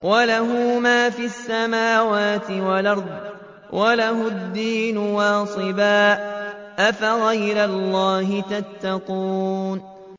وَلَهُ مَا فِي السَّمَاوَاتِ وَالْأَرْضِ وَلَهُ الدِّينُ وَاصِبًا ۚ أَفَغَيْرَ اللَّهِ تَتَّقُونَ